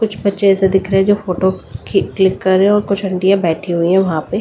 कुछ बच्चे से दिख रहे जो फोटो क्लिक कर रहे और कुछ आंटिया बैठी हुई हैं वहां पे।